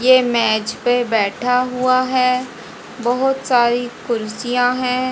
ये मेज पे बैठा हुआ है बहोत सारी कुर्सियां हैं।